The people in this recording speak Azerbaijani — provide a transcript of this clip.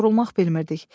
Yorulmaq bilmirdik.